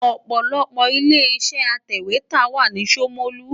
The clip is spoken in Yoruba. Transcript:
Ọ̀pọ̀lọpọ̀ ilé-iṣẹ́ atẹ̀wétà wà ní Ṣomolu.